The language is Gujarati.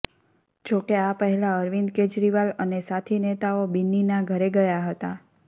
જોકે આ પહેલા અરવિંદ કેજરીવાલ અને સાથી નેતાઓ બિન્નીના ઘરે ગયા હતા